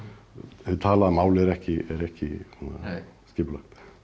hið talaða mál er ekki er ekki skipulagt